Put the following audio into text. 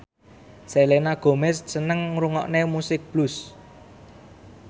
Selena Gomez seneng ngrungokne musik blues